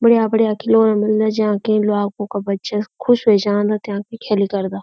बढ़ियां-बढ़ियां खिलौना मिलदा जां के ल्वागु क बच्चा खुश वे जांदा त्यांक भी खेली करदा।